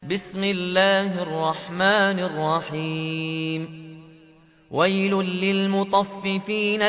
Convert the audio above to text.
وَيْلٌ لِّلْمُطَفِّفِينَ